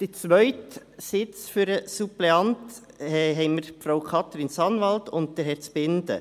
Beim zweiten Suppleantensitz haben wir Frau Katrin Sanwald und Herrn Zbinden.